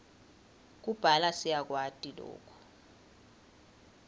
kubhala siyakwati loku